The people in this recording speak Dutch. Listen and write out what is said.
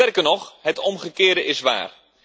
Sterker nog, het omgekeerde is waar.